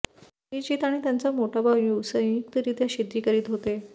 श्रीजीत आणि त्याचा मोठा भाऊ संयुक्तरित्या शेती करत होते